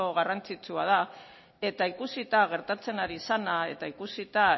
garrantzitsua da eta ikusita gertatzen ari zena eta ikusita